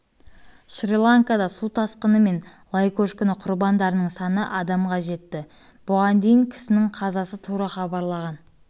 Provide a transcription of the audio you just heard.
шри-ланкада су тасқыны мен лай көшкіні құрбандарының саны адамға жетті бұған дейін кісінің қазасы туралы хабарлаған